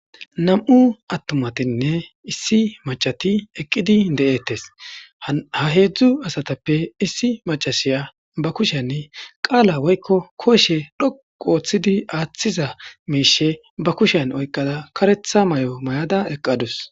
Nam7u attumatinne issi maccati eqqidi de7eettes. Ha heedzdzu asatappe issi macasiya ba kushen qaala woykko koshe dhoqu ooththidi aaththiza miishe ba kushen oyqqada karetha mayo mayada eqqadus.